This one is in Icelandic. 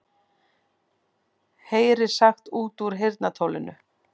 Heyrir sagt út úr heyrnartólinu